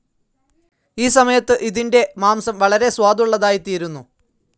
ഈ സമയത്തു ഇതിൻ്റെ മാംസം വളരെ സ്വാദുള്ളതായിത്തീരുന്നു.